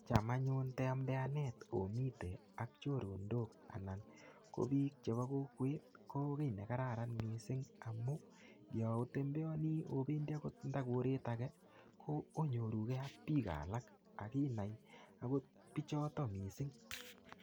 Cham anyun tembeanet omite ak chorondok anan ko biik chepo kokwet ko kiy ne kararan mising amu yo otembeani obendi agot nda koret age, ko onyoruge ak biik alak ak inai agot biichoto mising.